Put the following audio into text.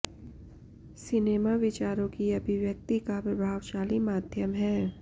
cinema विचारों की अभिव्यक्ति का प्रभावशाली माध्यम है